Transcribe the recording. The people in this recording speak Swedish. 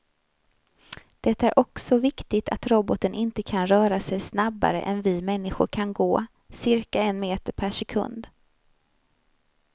Det är också viktigt att roboten inte kan röra sig snabbare än vi människor kan gå, cirka en meter per sekund.